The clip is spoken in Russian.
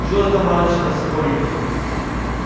жил я там раньше на сокольниках